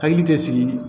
Hakili tɛ sigi